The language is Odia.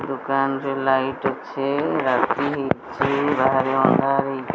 ଦୋକାନ ରେ ଲାଇଟ୍ ଅଛି ରାତି ହେଇଚି ବାହାରେ ଅନ୍ଧର ହେଇ --